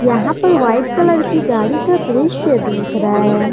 यहां पर white colour की गाड़ी का दृश्य दिख रहा है।